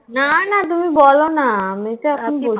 না না তুমি বলোনা আমিও তো এখন